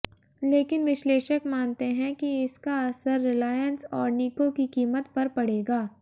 लेकिन विश्लेषक मानते हैं कि इसका असर रिलायंस और निको की कीमत पर पड़ेगा